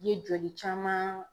Ye joli caman